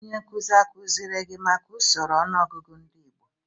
Onye nkuzi akuziri gi maka usoro ọnụọgụgụ ndị igbo?